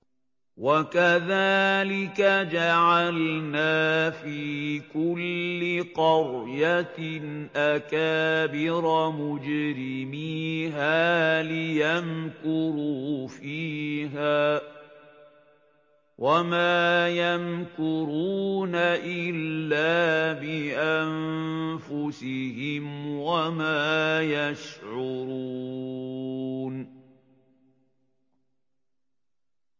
وَكَذَٰلِكَ جَعَلْنَا فِي كُلِّ قَرْيَةٍ أَكَابِرَ مُجْرِمِيهَا لِيَمْكُرُوا فِيهَا ۖ وَمَا يَمْكُرُونَ إِلَّا بِأَنفُسِهِمْ وَمَا يَشْعُرُونَ